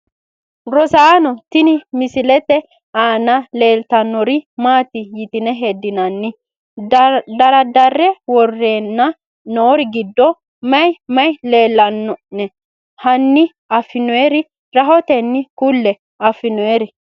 Rosaano tini misilete aana leeltanori maati yitine hedinanai daradare woreena noori giddo mayi mayi leelanone hani afinooniri rahoteni kulle`e afinooniri?